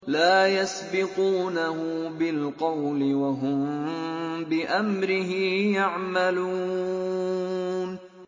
لَا يَسْبِقُونَهُ بِالْقَوْلِ وَهُم بِأَمْرِهِ يَعْمَلُونَ